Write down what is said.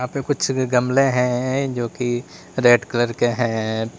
कुछ गमले हैं जो की रेड कलर के हैं।